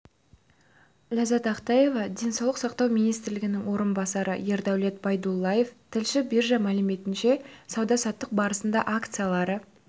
ләззат ақтаева денсаулық сақтау министрінің орынбасары ердәулет байдуллаев тілші биржа мәліметінше сауда-саттық барысында акциялары